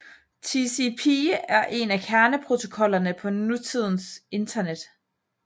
TCP er en af kerneprotokollerne på nutidens Internet